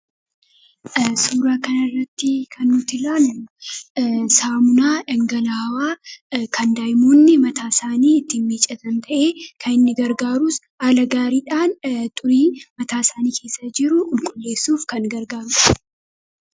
Suuraa kanarratti kan nuti ilaallu saamunaa dhangala'aa kan daa'imoonni mataa isaanii ittiin miiccatan ta'ee, kan inni gargaarus haala gaariidhaan xurii mataasaanii keessa jiru qulqulleessuuf kan gargaarudha.